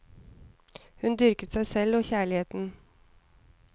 Hun dyrket seg selv og kjærligheten.